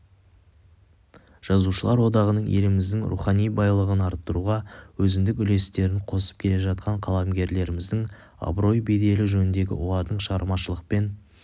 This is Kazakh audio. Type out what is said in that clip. жазушылар одағының еліміздің рухани байлығын арттыруға өзіндік үлестерін қосып келе жатқан қаламгерлеріміздің абырой-беделі жөнінде олардың шығармашылықпен